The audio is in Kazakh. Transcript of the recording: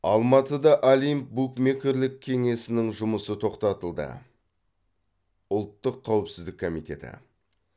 алматыда олимп букмекерлік кеңесінің жұмысы тоқтатылды ұлттық қауіпсіздік комитеті